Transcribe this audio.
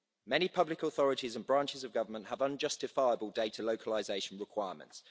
Many public authorities and branches of government have unjustifiable data localisation requirements.